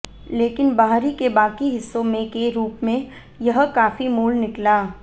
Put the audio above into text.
लेकिन बाहरी के बाकी हिस्सों में के रूप में यह काफी मूल निकला